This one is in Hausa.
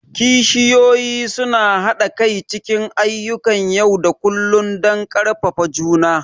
kishiyoyi suna haɗa kai cikin ayyukan yau da kullun don ƙarfafa juna.